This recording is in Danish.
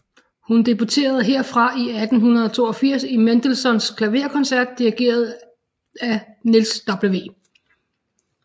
Hun debuterede herfra i 1882 i Mendelssohns klaverkoncert dirigeret af Niels W